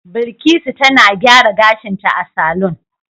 Bilkisu tana gyara gashinta a saloon